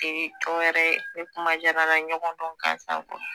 e cogoya wɛrɛ ye ni kuma jarala n na ɲɔgɔndɔn gansan